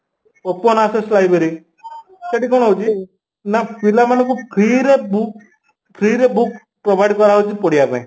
Open asses library ସେଠି କ'ଣ ହଉଚି ନା ପିଲାମାନ ଙ୍କୁ free ରେ book free ରେ book provide କରାଯାଉଛି ପଢିବା ପାଇଁ